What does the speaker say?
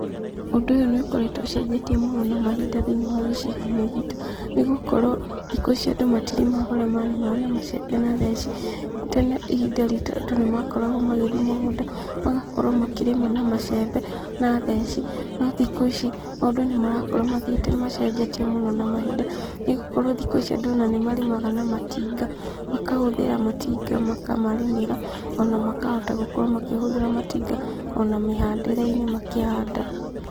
Ũndũ ũyũ nĩ ũkoretwo ũcenjetie mũno na mahinda thĩinĩ wa gĩcigo-inĩ gitũ nĩ gũkorwo thikũ ici andũ matirĩmaga ũrĩa marĩmaga na macembe na theci, tene ihinda ritũ andũ nĩ makoragwo magĩthiĩ mũgũnda, magakorwo makĩrĩma na macembe na theci, no thikũ ici maũndũ nĩ marakorwo mathiĩte macenjetie mũno na mahinda, nĩgũkorwo thikũ ici andũ ona nĩ marĩmaga na matinga, makahũthĩra matinga makamarĩmĩra, ona makahota gũkorwo makĩhũthĩra matinga ona mĩhandĩre-inĩ makĩhanda.